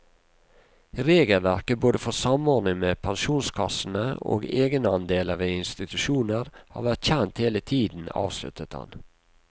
Regelverket både for samordning med pensjonskassene og egenandeler ved institusjoner har vært kjent hele tiden, avsluttet han.